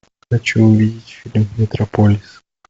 хочу увидеть фильм метрополис